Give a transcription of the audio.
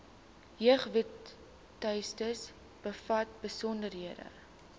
jeugwebtuiste bevat besonderhede